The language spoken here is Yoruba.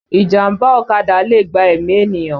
Ìjàmbá ọ̀kadà lè gba ẹ̀mí ènìyàn